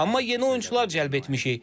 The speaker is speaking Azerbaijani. Amma yeni oyunçular cəlb etmişik.